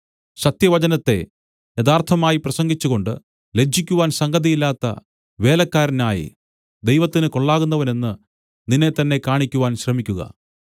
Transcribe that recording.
സത്യവചനത്തെ യഥാർത്ഥമായി പ്രസംഗിച്ചുകൊണ്ട് ലജ്ജിക്കുവാൻ സംഗതിയില്ലാത്ത വേലക്കാരനായി ദൈവത്തിന് കൊള്ളാകുന്നവനെന്ന് നിന്നെത്തന്നെ കാണിക്കുവാൻ ശ്രമിക്കുക